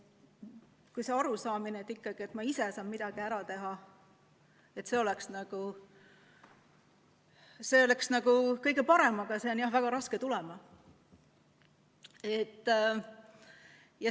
See arusaamine ikkagi, et ma ise saan midagi ära teha, oleks kõige parem, aga see on jah väga raske tulema.